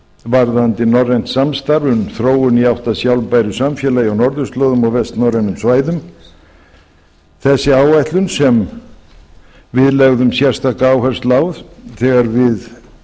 varðandi norrænt samstarf um þróun í átt að sjálfbæru samfélagi á norðurslóðum og vestnorrænum svæðum þessi áætlun sem við lögðum sérstaka áherslu á þegar við fórum